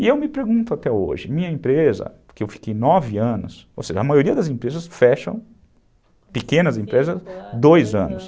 E eu me pergunto até hoje, minha empresa, porque eu fiquei nove anos, ou seja, a maioria das empresas fecham, pequenas empresas, dois anos.